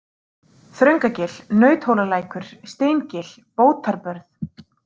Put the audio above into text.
Þröngagil, Nauthólalækur, Steingil, Bótarbörð